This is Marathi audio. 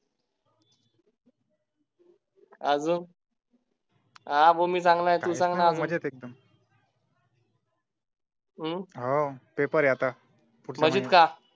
अजून. हा भो मी चांगला आहे तू सांग ना हम्म हो पेपर आहे आता अं मजेत का